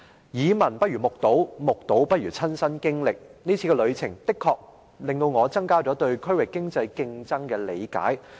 耳聞不如目睹，目睹不如親身經歷，這次旅程的確令我增加了對區域經濟競爭的理解。